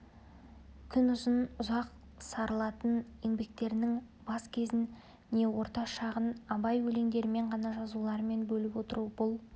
күнұзын ұзақ сарылатын еңбектерінің бас кезін не орта шағын абай өлеңдерімен жаңа жазуларымен бөліп отыру бұл